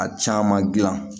A caman gilan